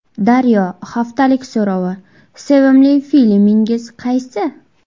Daryo haftalik so‘rovi: Sevimli filmingiz qaysi?.